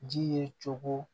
Ji ye cogo